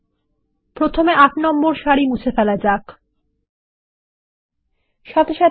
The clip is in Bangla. প্রথমতমুছে ফেলা যাক এর এন্ট্রির সারি সংখ্যা 8